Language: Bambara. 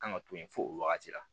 Kan ka to yen fo o wagati la